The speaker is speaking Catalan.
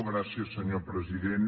gràcies senyor president